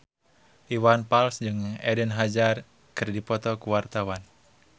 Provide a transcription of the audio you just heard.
Iwan Fals jeung Eden Hazard keur dipoto ku wartawan